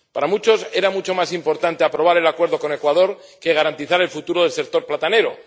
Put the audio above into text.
Para muchos, era mucho más importante aprobar el acuerdo con Ecuador que garantizar el futuro del sector platanero.